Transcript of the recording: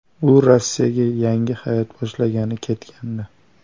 U Rossiyaga yangi hayot boshlagani ketgandi.